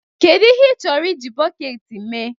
Kedu ihe ị chọrọ iji bọket mee?